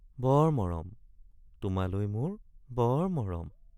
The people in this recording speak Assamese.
বৰ মৰম—তোমালৈ মোৰ বৰ মৰম।